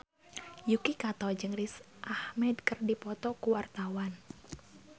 Yuki Kato jeung Riz Ahmed keur dipoto ku wartawan